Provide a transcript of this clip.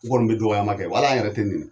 N kɔni bɛ dɔkɔyama kɛ wa hali an yɛrɛ tɛ nenin